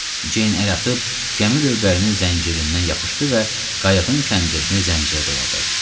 Ceyn əl atıb gəmi lövbərinin zəncirindən yapışdı və qayıqın kəndrini zəncirə doladı.